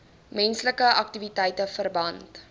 menslike aktiwiteite verband